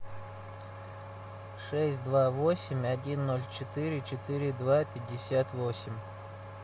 шесть два восемь один ноль четыре четыре два пятьдесят восемь